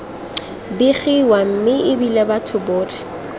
begiwa mme ebile batho botlhe